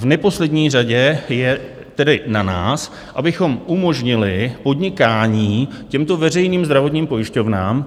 V neposlední řadě je tedy na nás, abychom umožnili podnikání těmto veřejným zdravotním pojišťovnám.